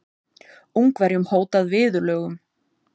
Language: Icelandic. Ungverjum hótað viðurlögum